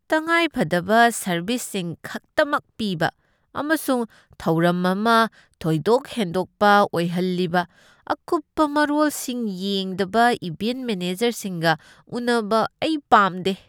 ꯇꯉꯥꯏꯐꯗꯕ ꯁꯔꯕꯤꯁꯁꯤꯡ ꯈꯛꯇꯃꯛ ꯄꯤꯕ ꯑꯃꯁꯨꯡ ꯊꯧꯔꯝ ꯑꯃ ꯊꯣꯏꯗꯣꯛꯍꯦꯟꯗꯣꯛꯄ ꯑꯣꯏꯍꯜꯂꯤꯕ ꯑꯀꯨꯞꯄ ꯃꯔꯣꯜꯁꯤꯡ ꯌꯦꯡꯗꯕ ꯏꯚꯦꯟꯠ ꯃꯦꯅꯦꯖꯔꯁꯤꯡꯒ ꯎꯅꯕ ꯑꯩ ꯄꯥꯝꯗꯦ꯫